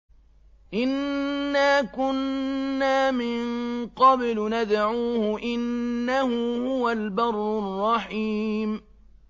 إِنَّا كُنَّا مِن قَبْلُ نَدْعُوهُ ۖ إِنَّهُ هُوَ الْبَرُّ الرَّحِيمُ